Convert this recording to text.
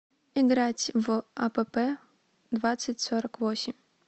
играть в апп двадцать сорок восемь